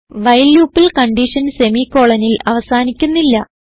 while loopൽ condition semicolonൽ അവസാനിക്കുന്നില്ല